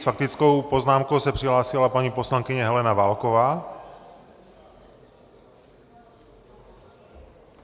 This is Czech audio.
S faktickou poznámkou se přihlásila paní poslankyně Helena Válková.